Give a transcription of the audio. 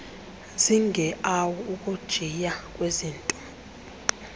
zigeawu ukujiya kwezinta